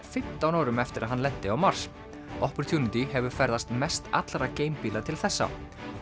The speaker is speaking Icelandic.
fimmtán árum eftir að hann lenti á Mars opportunity hefur ferðast mest allra til þessa